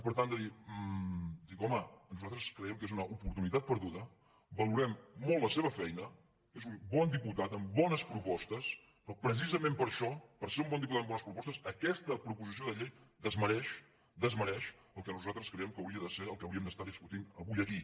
per tant dic home nosaltres creiem que és una oportunitat perduda valorem molt la seva feina és un bon diputat amb bones propostes però precisament per això per ser un diputat amb bones propostes aquesta proposició de llei desmereix desmereix el que nosaltres creiem que hauria de ser el que hauríem d’estar discutint avui aquí